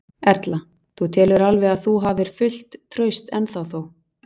Erla: Þú telur alveg að þú hafir fullt traust ennþá þó?